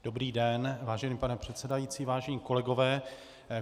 Dobrý den, vážený pane předsedající, vážení kolegové.